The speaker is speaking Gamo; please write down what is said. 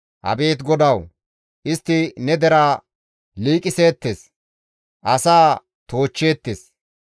Abeet GODAWU! Istti ne deraa liiqiseettes; asaa toochcheettes.